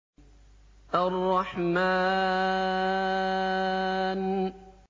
الرَّحْمَٰنُ